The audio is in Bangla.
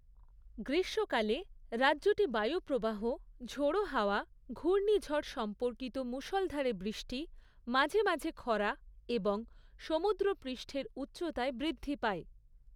গ্রীষ্মকালে, রাজ্যটি বায়ু প্রবাহ, ঝোড়ো হাওয়া, ঘূর্ণিঝড় সম্পর্কিত মুষলধারে বৃষ্টি, মাঝে মাঝে খরা এবং সমুদ্রপৃষ্ঠের উচ্চতায় বৃদ্ধি পায়।